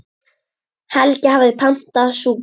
Helgi hafði pantað súpu.